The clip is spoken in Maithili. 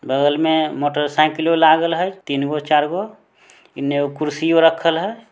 बगल में मोटरसाइकिलों लागल हई तीन गो चार गो इने एगो कुर्सियों रखल हई।